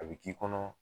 A bɛ k'i kɔnɔ